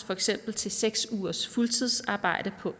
for eksempel seks ugers fuldtidsarbejde på